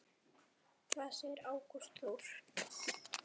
Hvað segir Ágúst Þór?